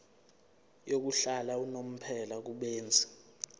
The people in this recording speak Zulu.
yokuhlala unomphela kubenzi